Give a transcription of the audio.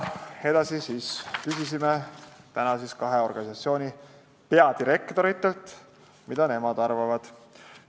Edasi küsisime tänase kahe organisatsiooni peadirektoritelt, mida nemad arvavad.